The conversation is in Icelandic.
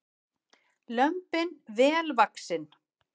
Lömbin vel vaxin